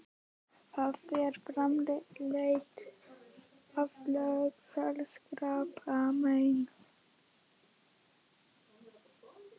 Þar fer fram leit að leghálskrabbameini.